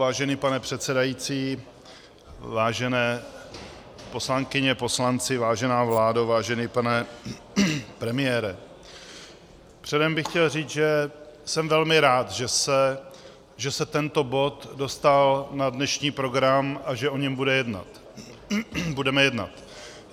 Vážený pane předsedající, vážené poslankyně, poslanci, vážená vládo, vážený pane premiére, předem bych chtěl říci, že jsem velmi rád, že se tento bod dostal na dnešní program a že o něm budeme jednat.